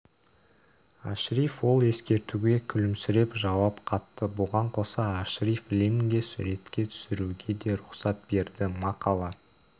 ашриф ол ескертуге күлімсіреп жауап қатты бұған қоса ашриф лимнге суретке түсіруге де рұқсат берді мақала